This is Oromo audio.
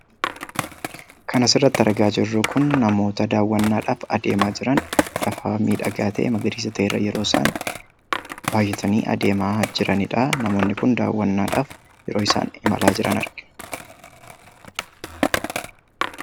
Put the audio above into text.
Kan as irratti argaa jirru Kun namoota dawwaannaadhaaf adeemaa jiraniidha. Akkasumas lafa magariisaa ta'e irraa yeroo isaan bayyatanii deemaa jiran kan arginuu dha.